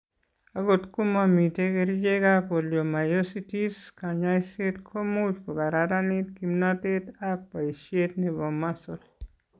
Akot ko momiten kerchekap polymyositis, kaany'ayseet ko much kokararanit kimnatet ak boisiet ne po muscle.